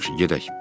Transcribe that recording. Yaxşı, gedək.